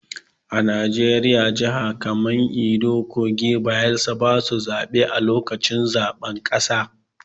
A Najeriya, jihar kaman Edo, kogi da Bayelsa basu zabe a lokacin zaɓen ƙasa.